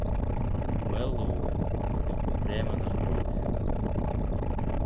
мэллоу упрямо нахмурился